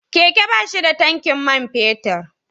Keke ba shi da tankin man fetur.